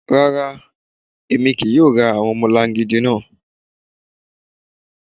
Rárá, èmi kí í yóò rá àwọn ọmọlàngídi náà.